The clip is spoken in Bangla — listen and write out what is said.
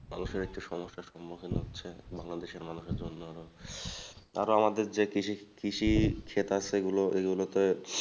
মানুষের একটু সমস্যার সম্মুখীন হচ্ছে বাংলাদেশের মানুষের জন্য আরো আমাদের যে কৃষি কৃষি ক্ষেত আছে এগুলো এগুলোতে